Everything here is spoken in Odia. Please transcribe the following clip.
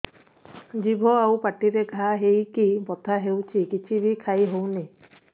ଜିଭ ଆଉ ପାଟିରେ ଘା ହେଇକି ବଥା ହେଉଛି କିଛି ବି ଖାଇହଉନି